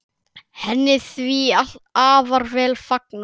Henni því afar vel fagnað.